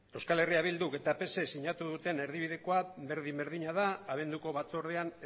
euskal herria bilduk eta psek sinatu duten erdibidekoa berdin berdina da abenduko batzordean